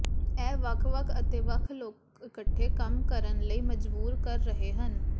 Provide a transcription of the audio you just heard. ਇਹ ਵੱਖ ਵੱਖ ਅਤੇ ਵੱਖ ਲੋਕ ਇਕੱਠੇ ਕੰਮ ਕਰਨ ਲਈ ਮਜਬੂਰ ਕਰ ਰਹੇ ਹਨ